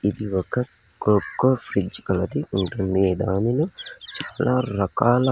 ఇది ఒక కోకో పిచ్చుకలది ఉంటుంది దానిని చాలా రకాల.